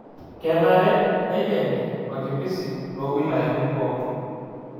Kenare neikeni wakimbisi too wilayani pooki